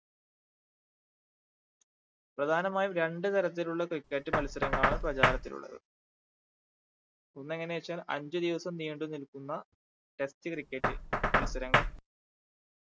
പ്രധാനമായും രണ്ടു തരത്തിലുള്ള cricket മത്സരങ്ങളാണ് പ്രചാരത്തിലുള്ളത് ഒന്ന് എങ്ങനെച്ചാൽ അഞ്ചു ദിവസം നീണ്ടു നിൽക്കുന്ന test cricket മത്സരങ്ങൾ